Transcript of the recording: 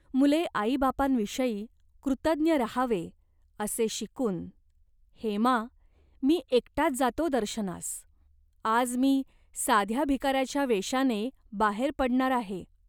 मुले आईबापांविषयी कृतज्ञ राहावे, असे शिकून "हेमा, मी एकटाच जातो दर्शनास. आज मी साध्या भिकाऱ्याच्या वेषाने बाहेर पडणार आहे.